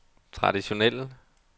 traditionelle